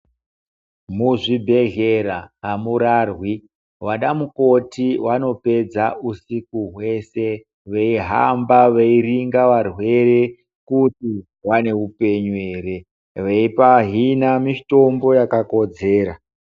Muzvibhedhlera amurarwi, wanamukoti wanopwdxa usiku wese veyihamba, veyiringa varwere kuti vanewupenyu here, veyipahina mitombo yakakodzera.